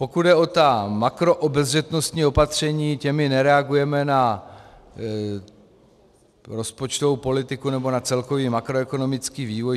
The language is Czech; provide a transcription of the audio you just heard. Pokud jde o ta makroobezřetnostní opatření, těmi nereagujeme na rozpočtovou politiku, nebo na celkový makroekonomický vývoj.